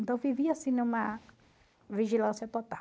Então, vivia assim numa vigilância total.